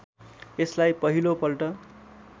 यसलाई पहिलो पल्ट